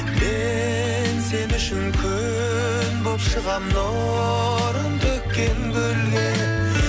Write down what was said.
мен сен үшін күн болып шығамын нұрын төккен гүлге